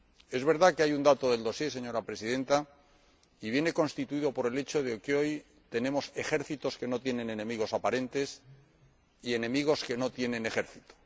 Es verdad que hay un dato del expediente, señora Presidenta, que viene constituido por el hecho de que hoy tenemos ejércitos que no tienen enemigos aparentes y enemigos que no tienen ejército.